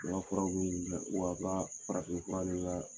wa a ka farafin fura